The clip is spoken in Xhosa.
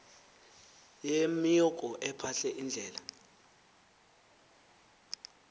yemioki ephahle iindlela